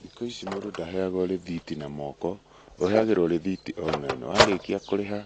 Thikũ ici mũndũ ndaheagwo rĩthiti na moko, ũheagĩrwo rĩthiti online. Warĩkia kũrĩha,